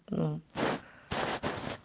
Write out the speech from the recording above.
а